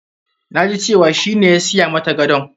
Na ji cewa shi ne ya siya mata gadon.